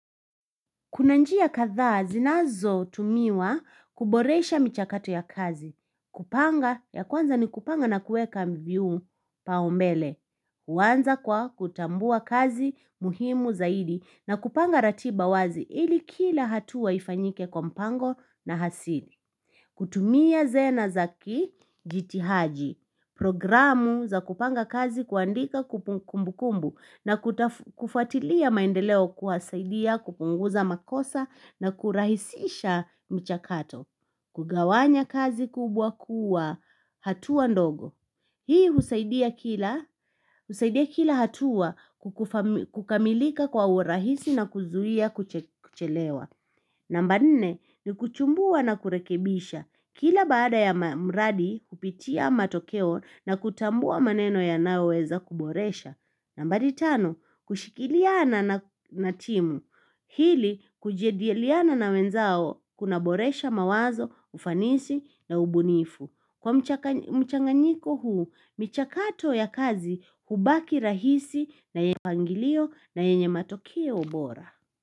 Kuna njia kadhaa zinazotumiwa kuboresha michakato ya kazi. Kupanga ya kwanza ni kupanga na kuweka viupaumbele. Huanza kwa kutambua kazi muhimu zaidi na kupanga ratiba wazi ili kila hatua ifanyike kwa mpango na hasini. Kutumia zena zakijitihaji Programu za kupanga kazi kuandika kumbukumbu na kufuatilia maendeleo husaidia kupunguza makosa na kurahisisha mchakato Kugawanya kazi kubwa kuwa hatua ndogo Hii husaidia kila hatua kukamilika kwa urahisi na kuzuia kuchelewa namba nne ni kuchumbua na kurekebisha. Kila baada ya mradi kupitia matokeo na kutambua maneno yanayoweza kuboresha. Nambari tano kushikiliana na timu. Ili kujadiliana na wenzao kuna boresha mawazo, ufanisi na ubunifu. Kwa mchanganyiko huu, michakato ya kazi hubaki rahisi na yenye matokeo bora.